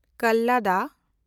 ᱠᱟᱞᱞᱟᱫᱟ